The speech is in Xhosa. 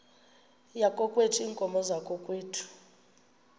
yakokwethu iinkomo zakokwethu